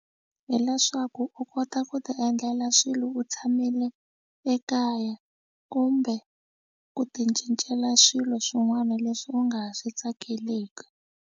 Hileswaku u kota ku tiendlela swilo u tshamile ekaya kumbe ku ticincela swilo swin'wana leswi u nga swi tsakeleki.